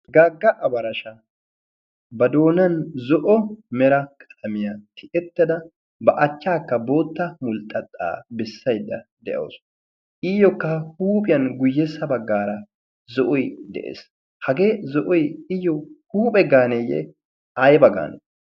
gaagga abarasha ba doonan zo'o mera qalaamiyaa tiyyettada ba achchaakka bootta mulxxuxxaa besaydda de'awus. iyyookka huuphphiyaan guyyessa baggaara zo'oy de'ees. hagee zo'oy iyoo huuphphe gaanee? ayba gaanee?